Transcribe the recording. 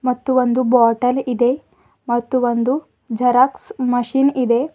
ಮತ್ತು ಒಂದು ಬಾಟಲ್ ಇದೆ ಮತ್ತು ಒಂದು ಜೆರಾಕ್ಸ್ ಮಷೀನ್ ಇದೆ.